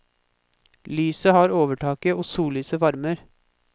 Lyset har overtaket, og sollyset varmer.